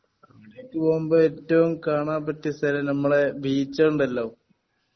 അവിടേക്കു പൊമ്പോ ഏറ്റവും കാണാൻ പറ്റിയ സ്ഥലം നമ്മളെ ബീച്ച് ണ്ടല്ലോ